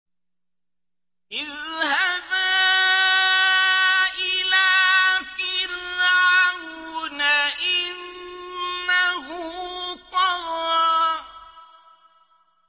اذْهَبَا إِلَىٰ فِرْعَوْنَ إِنَّهُ طَغَىٰ